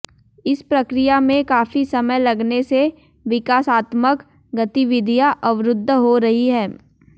इस प्रक्रिया में काफी समय लगने से विकासात्मक गतिविधियां अवरुद्ध हो रही हंै